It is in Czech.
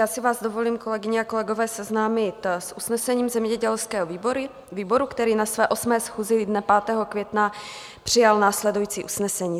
Já si vás dovolím, kolegyně a kolegové, seznámit s usnesením zemědělského výboru, který na své 8. schůzi dne 5. května přijal následující usnesení: